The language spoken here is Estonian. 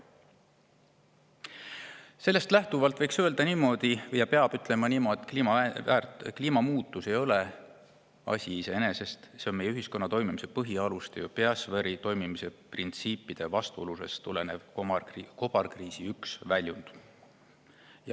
Sellest lähtuvalt võiks öelda ja peab ütlema niimoodi, et kliimamuutus ei ole asi iseeneses, see on meie ühiskonna toimimise põhialuste, biosfääri toimimise printsiipide vastuoludest tulenev kobarkriisi üks väljund.